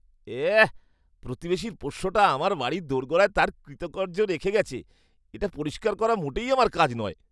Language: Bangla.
এঃ, প্রতিবেশীর পোষ্যটা আমার বাড়ির দোরগোড়ায় তার কৃতকার্য রেখে গেছে। এটা পরিষ্কার করা মোটেই আমার কাজ নয়।